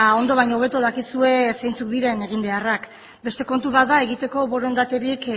ondo baino hobeto dakizue zeintzuk diren eginbeharrak beste kontu bat da egiteko borondaterik